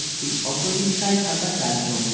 একটি অটোরিকশায় থাকা চারজন